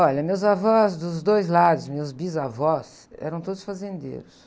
Olha, meus avós dos dois lados, meus bisavós, eram todos fazendeiros.